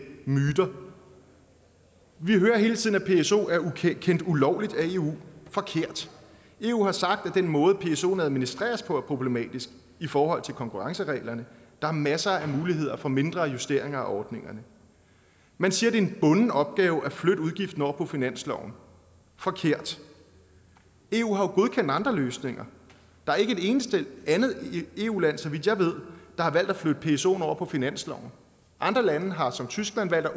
myter vi hører hele tiden at pso er kendt ulovlig af eu forkert eu har sagt at den måde psoen administreres på er problematisk i forhold til konkurrencereglerne der er masser af muligheder for mindre justeringer af ordningerne man siger det er en bunden opgave at flytte udgiften over på finansloven forkert eu har jo godkendt andre løsninger der er ikke et eneste andet eu land så vidt jeg ved der har valgt at flytte psoen over på finansloven andre lande har som tyskland valgt at